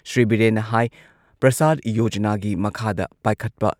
ꯁ꯭ꯔꯤ ꯕꯤꯔꯦꯟꯅ ꯍꯥꯏ ꯄ꯭ꯔꯁꯥꯗ ꯌꯣꯖꯅꯥꯒꯤ ꯃꯈꯥꯗ ꯄꯥꯏꯈꯠꯄ